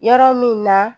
Yɔrɔ min na